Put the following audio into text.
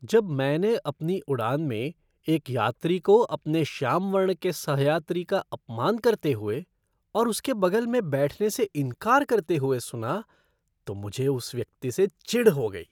जब मैंने अपनी उड़ान में एक यात्री को अपने श्याम वर्ण के सह यात्री का अपमान करते हुए और उसके बगल में बैठने से इनकार करते हुए सुना तो मुझे उस व्यक्ति से चिढ़ हो गई।